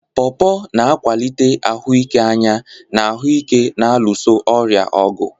Porpor na-akwalite ahụike anya na ahụ ike na-alụso ọrịa ọgụ.